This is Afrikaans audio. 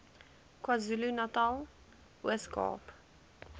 kwazulunatal ooskaap